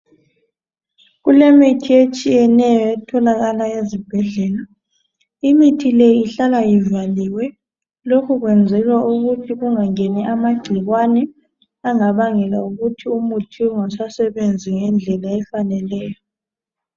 Kulemithi etshiyeneyo etholakala ezibhedlela. Imithi leyi ihlala ivaliwe lokhu kwenzelwa ukuthi kungangeni amagcikwane angabangela ukuthi umuthi ungasebenzi ngendlela efaneleyo.